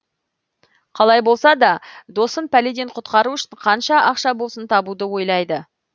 қалай болса да досын пәледен құтқару үшін қанша ақша болсын табуды ойлайды